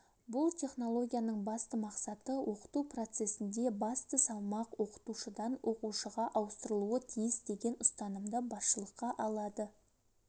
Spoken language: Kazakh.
бұл технологияның басты мақсаты оқыту процесінде басты салмақ оқытушыдан оқушыға ауыстырылуы тиіс деген ұстанымды басшылыққа алады